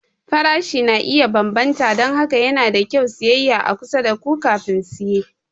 Farashi na iya bambanta don haka yana da kyau siyayya a kusa da ku kafin siye.